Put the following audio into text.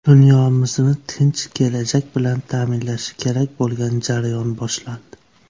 Dunyomizni tinch kelajak bilan ta’minlashi kerak bo‘lgan jarayon boshlandi.